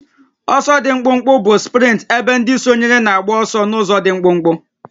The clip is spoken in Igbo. Ọsọ dị mkpụmkpụ bụ sprint ebe ndị sonyere na-agba ọsọ n'ụzọ dị mkpụmkpụ